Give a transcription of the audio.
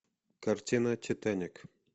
картина титаник